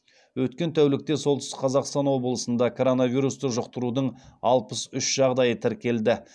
өткен тәулікте солтүстік қазақстан облысында коронавирусты жұқтырудың алпыс үш жағдайы тіркелді